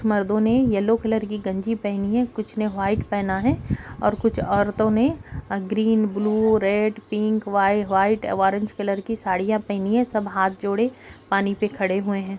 मर्दों ने yellow colour की गंजी पहनी है कुछ ने व्हाइट पहना है और कुछ औरतों ने green blue red pink white व ऑरेंज कलर की साड़िया पहनी है सब हाथ जोड़े पानी पे खड़े हुए हैं ।